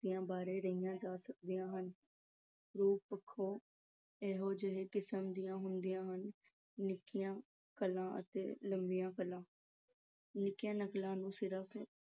ਬਾਰੇ ਕਹੀਆਂ ਜਾ ਸਕਦੀਆਂ ਹਨ। ਰੂਪ ਪੱਖੋਂ ਇਹ ਦੋ ਕਿਸਮ ਦੀਆਂ ਹੁੰਦੀਆਂ ਹਨ - ਨਿੱਕੀਆਂ ਨਕਲਾਂ ਅਤੇ ਲੰਮੀਆਂ ਨਕਲਾਂ। ਨਿੱਕੀਆਂ ਨਕਲਾਂ ਨੂੰ ਸਿਰਫ਼